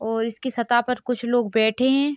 और इसकी सता पर कुछ लोग बैठे हैं।